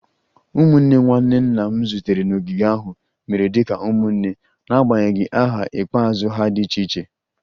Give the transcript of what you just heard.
Ụmụnne nwanne nna m zutere n'ogige ahụ mere dị ka ụmụnne n'agbanyeghị aha ikpeazụ ha dị iche iche